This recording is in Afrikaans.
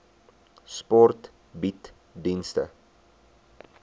sport bied dienste